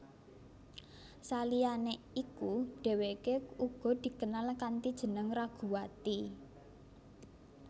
Saliyane iku dheweke uga dikenal kanthi jeneng Raguwati